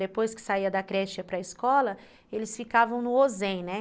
Depois que saía da creche e ia para a escola, eles ficavam no ó zen, né?